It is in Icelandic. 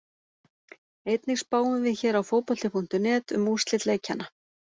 Einnig spáum við hér á Fótbolti.net um úrslit leikjanna.